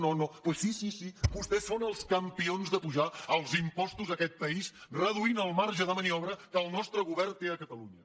doncs sí sí sí vostès són els campions d’apujar els impostos a aquest país reduint el marge de maniobra que el nostre govern té a catalunya